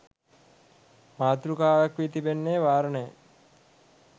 මාතෘකාවක් වී තිබෙන්නේ වාරණය